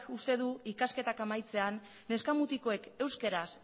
uste du ikasketak amaitzean neska mutikoek euskaraz